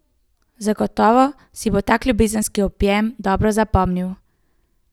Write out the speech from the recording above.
Zagotovo si bo tak ljubezenski objem dobro zapomnil.